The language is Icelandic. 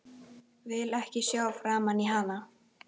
Vil ekki sjá framan í hana.